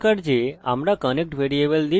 এই প্রথম ফাংশন শেখা দরকার